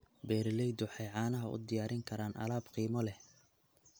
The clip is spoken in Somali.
Beeraleydu waxay caanaha u diyaarin karaan alaab qiimo leh.